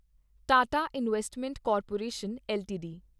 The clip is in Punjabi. Tata investment corporation LTD